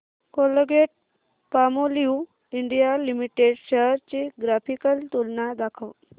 Colgate Palmolive India limited shares ची graphical तुलना दाखव